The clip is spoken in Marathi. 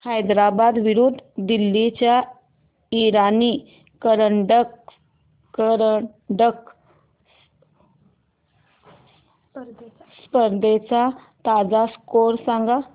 हैदराबाद विरुद्ध दिल्ली च्या इराणी करंडक स्पर्धेचा ताजा स्कोअर सांगा